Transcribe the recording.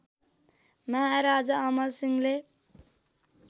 महाराजा अमर सिंहले